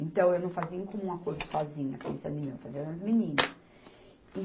Então, eu não fazia em comum acordo sozinha, pensando em mim, eu fazia nas meninas.